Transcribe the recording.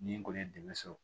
Ni n kɔni ye dɛmɛ sɔrɔ